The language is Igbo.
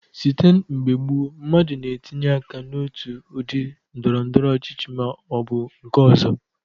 Site n'mgbe gboo, mmadụ na-etinye aka n'otu udị ndọrọndọrọ ọchịchị ma ọ bụ nke ọzọ.